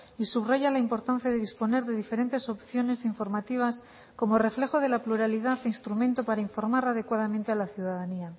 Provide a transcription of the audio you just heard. y subraya la importancia de disponer de diferentes opciones informativas como reflejo de la pluralidad instrumento para informar adecuadamente a la ciudadanía